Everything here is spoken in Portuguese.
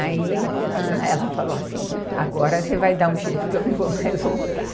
Aí ela falou assim, agora você vai dar um jeito que eu não vou mais voltar.